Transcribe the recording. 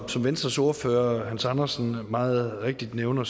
som venstres ordfører hans andersen meget rigtigt nævner